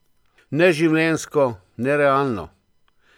Neživljenjsko, nerealno!